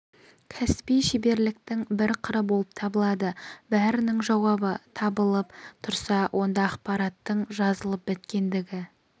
кәсіби шеберліктің бір қыры болып табылады бәрінің жауабы табылып тұрса онда ақпараттың жазылып біткендігі